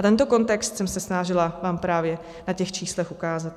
A tento kontext jsem se snažila vám právě na těch číslech ukázat.